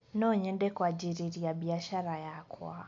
Nonyende kwanjĩrĩria biacara yakwa